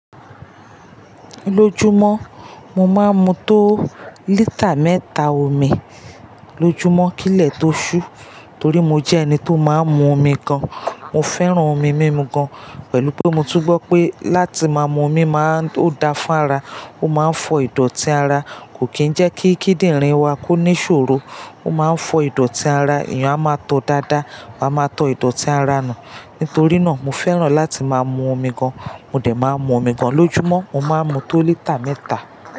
Lójúmọ́ mo máa ń mu tó lítà mẹ́ta omi lójúmọ́ kí lẹ̀ tó ṣú, torí mo jẹ́ ẹni tó máa ń mu omi gan. Mo fẹ́ràn omi mímu gan pẹ̀lú pé mo tún gbọ́ pé láti ma mu omi máa ń ó dáa fún ara, ó máa ń fọ ìdọ̀tí ara, kò kí ń jẹ́ kí kíndìnrín wa kó ní ìṣòro, ó máa ń fọ ìdọ̀tí ara, èèyàn a máa tọ dáadáa, wa máa tọ ìdọ̀tí ara nù. Nítorí náà mo fẹ́ràn láti máa mu omi gan, mo dẹ̀ máa ń mu omi gan. Lójúmọ́ mo máa ń mu tó lítà mẹ́ta.